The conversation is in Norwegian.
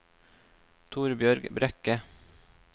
Torbjørg Brekke